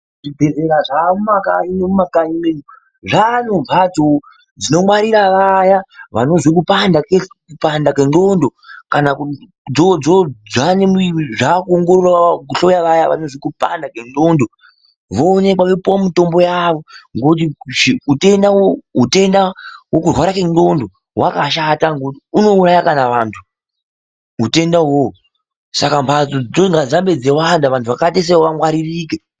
Zvibhedhleya zvaakumakanyi mwedu zvaa nembatso dzinongwarira vaya vanozwe kupanda kwenxondo voonekwa vopuwa mitombo yavo ngokuti utenda hwokurwara ngenxondo hwakashata ngekuti unouraya kana vantu utenda wo uwowo saka mbatso dzinoda kuwanda kuti vanhu vakadaroko vangwaririke.